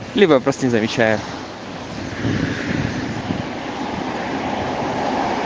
либо просто не замечаю